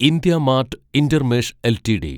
IndiaMART Intermesh LTD